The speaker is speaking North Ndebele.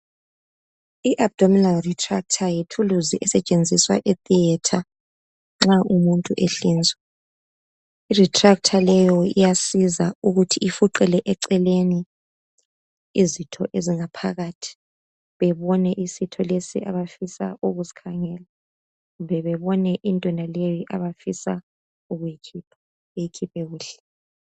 i abdominal retractor yithuluzi esetshenziswa e theatre nxa umuntu ehlinzwa i retractor leyo iyasiza ukuthi ifuqele eceleni izitho ezingaphakathi bebone isitho lesi abafisa ukusikhangela kumbe babone into yonaleyi abafisa ukuyikhipha beyikhiphe kuhle